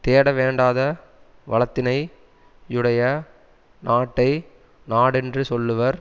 தேடவேண்டாத வளத்தினை யுடைய நாட்டை நாடென்று சொல்லுவர்